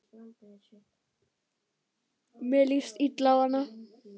Mér líst illa á hana.